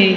Ee,